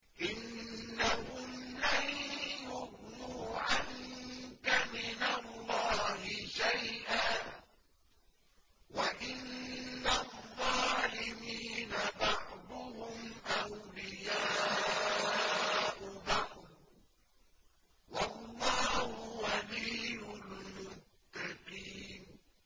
إِنَّهُمْ لَن يُغْنُوا عَنكَ مِنَ اللَّهِ شَيْئًا ۚ وَإِنَّ الظَّالِمِينَ بَعْضُهُمْ أَوْلِيَاءُ بَعْضٍ ۖ وَاللَّهُ وَلِيُّ الْمُتَّقِينَ